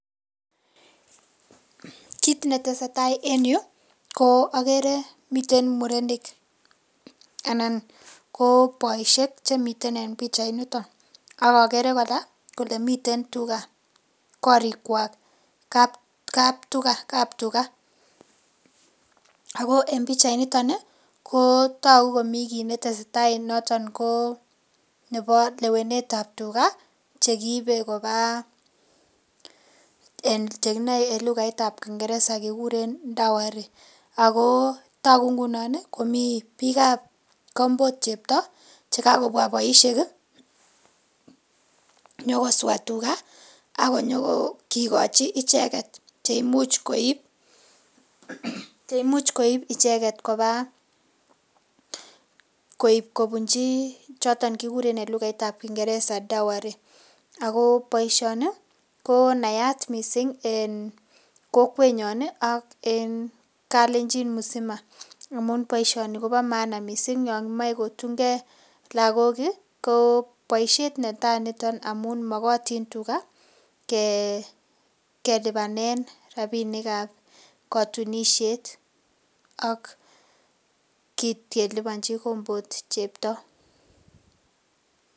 KIt netesetai en yu ko ogere miten murenik anan ko boishek chemiten en pichainito ak agere kora kole miten tuga korikwak kaptich. Ago en pichainito ko togu komi kit ne tesetai noton ko nebo lewenet ab tuga chekibe koba che kinoe en lagait ab Kiingereza kikuren dowry ago togu ngunon komi biik ab kombot chepto che kagobwa boishek nyokoswa tuga ak konyo kigochi icheget che imuch koib icheget koba koib kobunji choton ch ekiguren en lugait ab Kiingereza dowry ago boiisioni ko naat mising en kokwenyon ak en Kalenjin mzima amaun boisioni kobo maana mising yon imoche kotun ge lagok ko boisiiet netai niton amun mogotin tuga ke lipanen rabinik ab kotunisiet ak kiit keliponji kombot chepto.